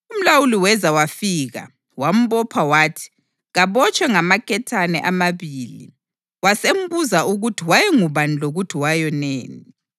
Umlawuli weza wafika wambopha wathi kabotshwe ngamaketane amabili. Wasembuza ukuthi wayengubani lokuthi wayoneni.